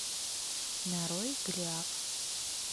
нарой голиаф